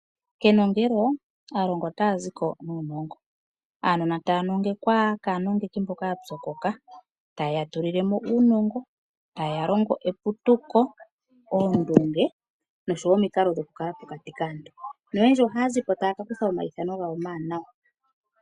Kenongelo, aalongwa otaya zi ko nuunongo. Aanona taya nongekwa kaanongeki mboka ya pyokoka taye ya tulile mo uunongo, taye ya longo eputuko, oondunge noshowo omikalo dhoku kala pokati kaantu. Noyendji ohaya zi po taya ka kutha omayithano gawo omawanawa.